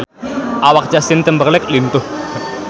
Awak Justin Timberlake lintuh